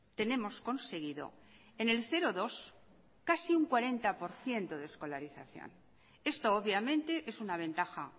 tenemos conseguido en el cero dos casi un cuarenta por ciento de escolarización esto obviamente es una ventaja